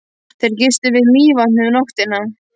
Þeir gistu við Mývatn um nóttina.